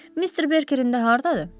Mister Berkerin də hardadır?